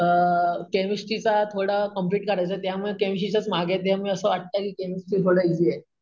अम chemistry चा थोडा complete करायचाय त्यामुळे केमिस्टरी च्याच मागे आहे त्यामुळे असं वाटतंय कि केमिस्टरी थोडं ईज़ी आहे.